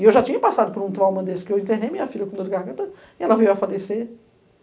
E eu já tinha passado por um trauma desse, que eu internei minha filha com dor de garganta e ela veio a falecer.